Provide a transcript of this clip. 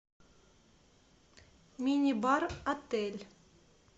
мини бар отель